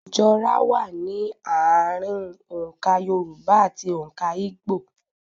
Ìjọra wà ní ààrùn òǹkà Yorùbá ati òǹkà Igbó.